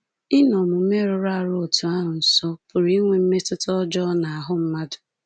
Ịnọ omume rụrụ arụ otú ahụ nso pụrụ inwe mmetụta ọjọọ n’ahụ́ mmadụ.